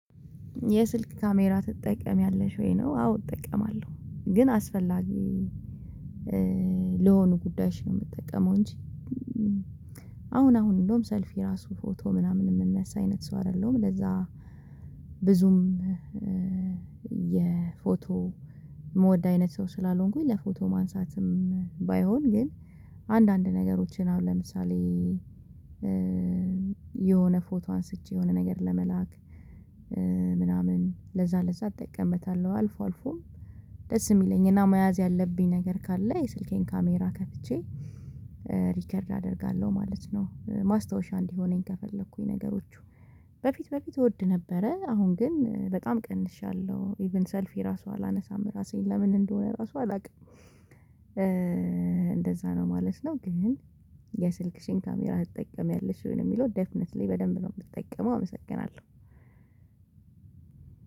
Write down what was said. የስልክ ካሜራ ትጠቀሚያለሽ ወይ ነው? አዎ እጠቀማለሁ ግን አስፈላጊ ለሆኑ ጉዳዮች ነው የምጠቀመው እንጂ። አሁን አሁን እንደውም ሰልፊ ራሱ ፎቶ ምናምን የምነሳ አይነት ሰው አይደለም ለዛ ብዙም የፎቶ የምወድ አይነት ሰው ስላልሆንኩኝ። ለፎቶ ማንሳትም ባይሆን ግን አንዳንድ ነገሮችን አሁን ለምሳሌ የሆነ ፎቶ አንስቼ የሆነ ነገር ለመላክ ምናምን ለዛ ለዛ እጠቀምበታለሁ አልፎ አልፎ። ደስ የሚለኝ እና መያዝ ያለብኝ ነገር ካለ የስልኬን ካሜራ ከፍቼ ሪከርድ አደርጋለሁ ማለት ነው። ማስታወሻ እንዲሆነኝ ከፈለኩኝ ነገሮቹ በፊት በፊት እወድ ነበረ አሁን ግን በጣም ቀንሻለሁ። ኢቭን ሰልፊ ራሱ አላነሳም ራሴን ለምን እንደሆነ ራሱ አላውቅም እንደዛ ነው ማለት ነው። ግን የስልክሽን ካሜራ ትጠቀሚያለሽ ወይ ነው? የሚለው ዴፍነትሊ በደንብ ነው የምትጠቀመው። አመሰግናለሁ።